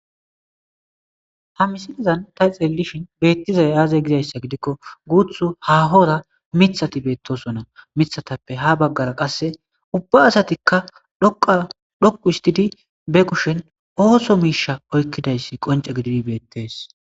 Ha misilazan ta xelelishin beettizay aaze gizayssa gidikko guuthu hahora mithati beettoso na mithatappe ha baggara qasse ubba asatikka dadhoqu histidi be kushen ooso miisha oykkidayssi qonce gididi beettees.